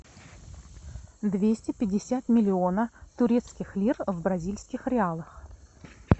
двести пятьдесят миллионов турецких лир в бразильских реалах